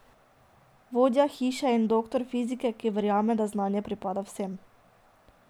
Vodja Hiše in doktor fizike, ki verjame, da znanje pripada vsem.